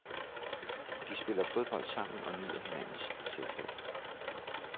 De spiller fodbold sammen og nyder hinandens selskab.